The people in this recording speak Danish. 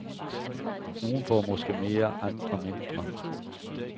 Nogen får måske mere, andre mindre.